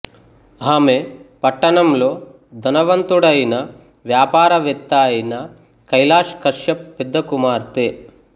ఆమె పట్టణంలో ధనవంతుడైన వ్యాపారవేత్త అయిన కైలాశ్ కశ్యప్ పెద్ద కుమార్తె